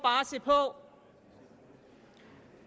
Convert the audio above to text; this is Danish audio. se på